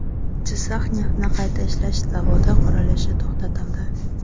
Jizzax neftni qayta ishlash zavodi qurilishi to‘xtatildi.